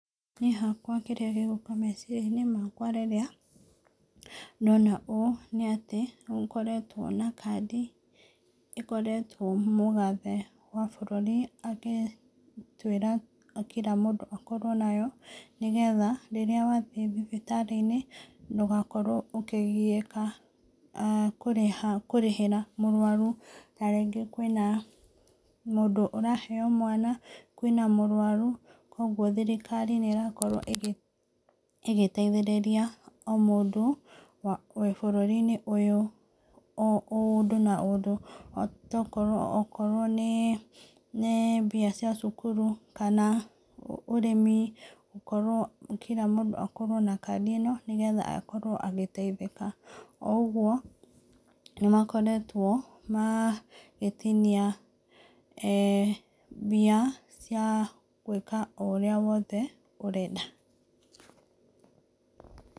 Niĩ hakwa kĩrĩa gĩgũka thĩiniĩ wa meciria-inĩ makwa, rĩrĩa ndona ũndũ ũyũ, nĩ atĩ nĩgũkoretwo na kandi, ikoretwo mũgathe wa bũrũri agĩtwĩra kira mũndũ akorwo nayo , nĩgetha rĩrĩa wathiĩ thibitarĩ-inĩ ndũgakorwo ũkĩgiĩka a kũrĩha kũrĩhĩra mũrwaru , na rĩngĩ kwĩna mũndũ ũraheo mwana, kwĩna mũrwaru, kũgwo thirikari nĩ irakorwo ĩgĩ ĩgĩteithĩrĩria o mũndũ wĩ bũrũri-inĩ ũyũ o ũndũ na ũndũ, tokorwo okorwo nĩ nĩ bia cia cukuru, kana ũrĩmi gũkorwo kira mũndũ akorwo ena kandi ino nĩgetha akorwo akĩteithĩka , o ũgwo, nĩmakoretwo magitinia eh mbia cia gwĩka ũrĩa wothe ũrenda.